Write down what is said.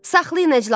Saxlayın əclafı.